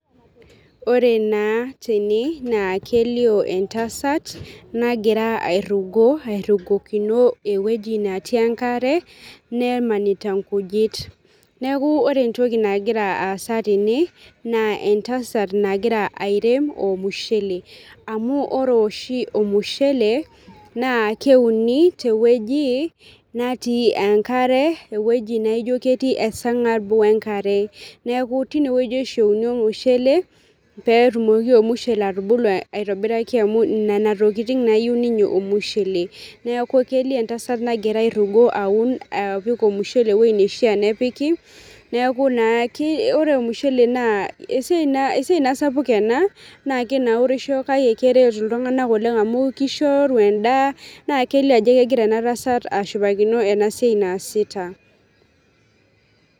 Ore naa tene naa kelioo entasat, nagira airufi, airufikino ewueji natii enkare, nemanita nkujit, neeku ore entoki nagira aasa tene, naa entasat, nagira airem olmushe, amu ore oshi, ormusheele naa keuni te wueji, natii enkare, ewueji naijo ketii esargab. Enkare neeku tine wueji oshi euni olmushele, peetumoki olmushele atubulu aitobiraki, amu Nena tokitin naa eyieu ninye olmusshele, neeku kelio, entasat nagira airugo aun olmushele, ewueji nishaa nepiki, neeku naa, ore olmushele esiai naa sapuk ena naa kinaurisho kake keret iltunganak Oleng amu kishori edaa, naa kelio ajo kegira ena tasat ashipakino ena siai naasita.